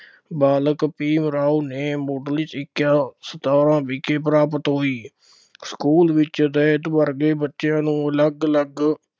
ਬਾਲਕ ਭੀਮ ਰਾਓ ਨੇ ਮੁੱਢਲੀ ਸਿੱਖਿਆ ਸਤਾਰਾ ਵਿਖੇ ਪ੍ਰਾਪਤ ਹੋਈ, ਸਕੂਲ ਵਿੱਚ ਦਲਿਤ ਵਰਗ ਦੇ ਬੱਚਿਆਂ ਨੂੰ ਅਲੱਗ ਅਲੱਗ